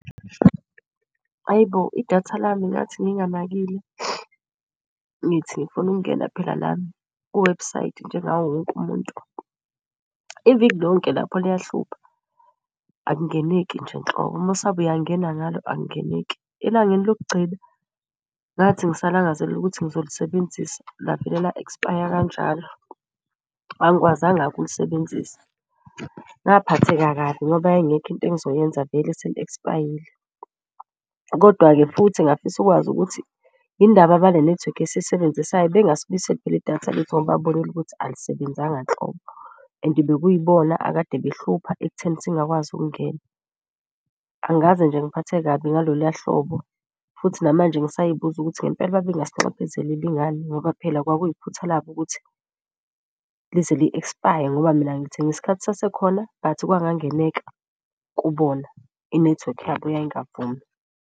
Ayi bo, idatha lami ngathi nginganakile ngithi ngifuna ukungena phela nami kwiwebhusayidi njengawo wonke umuntu. Iviki lonke lapho liyahlupha akungeneki nje nhlobo umusabe uyangena ngalo akungeneki. Elangeni lokugcina ngathi ngisalangazelele ukuthi ngizolisebenzisa lavele la-expire kanjalo, angikwazanga-ke ukulisebenzisa. Ngaphatheka kabi ngoba yayingekho into engizoyenza vele seli-expire-yile kodwa-ke futhi ngingafisa ukwazi ukuthi indaba abale nethiwekhi esiyisebenzisayo bengasibuyiseli phela idatha lethu. Ngoba babonile ukuthi alisebenzanga nhlobo and bekuyibona akade behlupha ekutheni singakwazi ukungena. Angikaze nje ngiphatheke kabi ngaloluya hlobo futhi namanje ngisay'buza ukuthi ngempela babe ngasinxephezeleli ngani. Ngoba phela kwakuyi phutha labo ukuthi lize li-expire ngoba mina ngilithenge isikhathi sasekhona but kwangenzeka kubona. Inethiwekhi yabo yayingavumi.